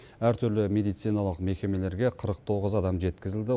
әртүрлі медициналық мекемелерге қырық тоғыз адам жеткізілді